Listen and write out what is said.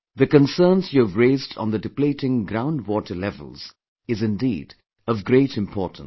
The concerns you have raised on the depleting ground water levels is indeed of great importance